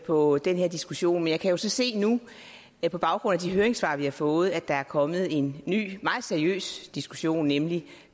på den her diskussion men jeg kan jo så se nu på baggrund af de høringssvar vi har fået at der er kommet en ny og meget seriøs diskussion nemlig